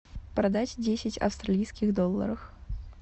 продать десять австралийских долларов